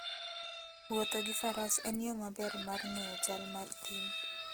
Wuotho gi Faras en yo maber mar ng'eyo chal mar thim.